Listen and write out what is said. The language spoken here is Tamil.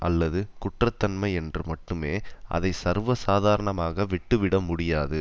அல்லது குற்ற தன்மை என்று மட்டுமே அதை சர்வ சாதாரணமாக விட்டுவிட முடியாது